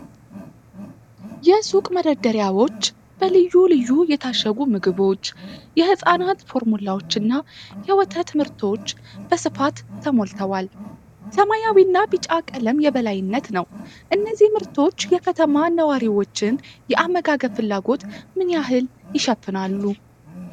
የሱቅ መደርደሪያዎች በልዩ ልዩ የታሸጉ ምግቦች፣ የሕፃናት ፎርሙላዎችና የወተት ምርቶች በስፋት ተሞልተዋል። የሰማያዊና ቢጫ ቀለም የበላይነት ነው። እነዚህ ምርቶች የከተማ ነዋሪዎችን የአመጋገብ ፍላጎት ምን ያህል ይሸፍናሉ?